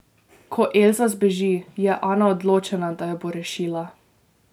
Ko Elza zbeži, je Ana odločena, da jo bo rešila ...